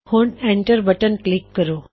ਹੁਣ enter button click ਕਰੋ